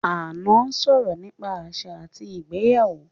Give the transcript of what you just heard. Ànọ́ sọ̀rọ̀ nípa àṣà àti ìgbéyàwó